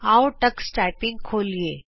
ਆਉ Tux typing ਖੋਲੀਏ